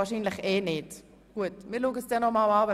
– Wahrscheinlich wird es ohnehin nicht dazu kommen.